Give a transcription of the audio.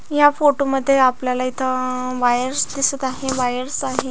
या फोटोमध्ये आपल्याला इथ वायर्स दिसत आहे वायर्स आहे.